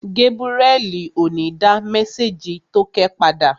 Gébúrẹ́li ò ní dá mésèjì tókẹ́ padà